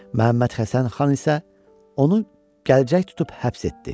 Məhəmməd Həsən xan isə onu gəcək tutub həbs etdi.